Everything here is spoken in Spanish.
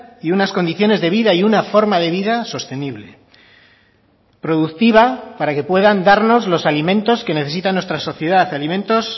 y unas condiciones de vida y una forma de vida sostenible productiva para que puedan darnos los alimentos que necesita nuestra sociedad alimentos